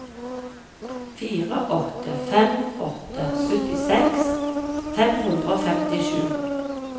fire åtte fem åtte syttiseks fem hundre og femtisju